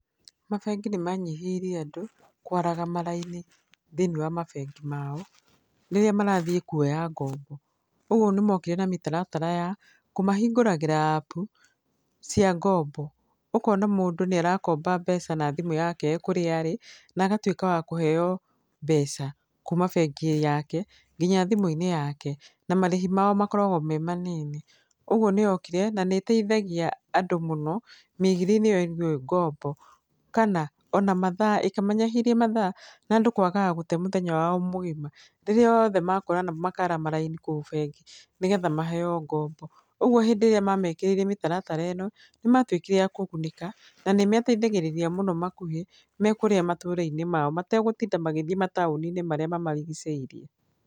Mabengi nĩ manyihĩirie andũ, kwaraga maraini thĩiniĩ wa mabengi mao, rĩrĩa marathiĩ kuoya ngombo. Ũguo nĩ mokire na mĩtaratara ya, kũmahingũragĩra appu, cia ngombo. Ũkona mũndũ nĩ arakomba mbeca na thimũ yake ee kũrĩa arĩ, na agatuĩka wa kũheo mbeca kuuma bengi yake nginya thimũ-inĩ yake. Na marĩhi mao makoragwo me manini. Ũguo nĩ yokire, na nĩ ĩteithagia andũ mũno, mĩigithĩriĩnĩ ĩgiĩ ngombo. Kana, ona mathaa ĩkĩmanyahĩria mathaa, na andũ kwagaga gũte mũthenya wao mũgima, rĩrĩa othe makorana makara maraini kũu bengi, nĩgetha maheo ngombo. Ũguo hĩndĩ ĩrĩa mamekĩrire mĩtaratara ĩno, nĩ matuĩkire a kũgunĩka, na nĩ meteithagĩrĩria mũno makuhĩ me kũrĩa matũũra-inĩ mao. Maregũtinda magĩthiĩ mataũni-inĩ marĩa mamarigicĩirie.